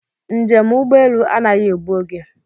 Njem ugbọelu anaghị egbu oge